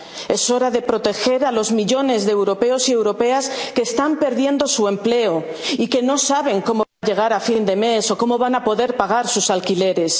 la sanidad. Es hora de proteger a los millones de europeos y europeas que están perdiendo su empleo y que no saben cómo llegar a fin de mes o cómo van a poder pagar sus